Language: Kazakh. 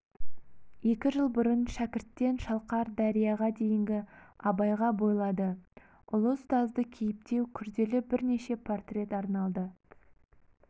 екі жыл бұрын шәкірттен шалқар дәрияға дейінгі абайға бойлады ұлы ұстазды кейіптеу күрделі бірнеше портрет арналды